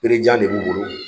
Bere jan de b'u bolo.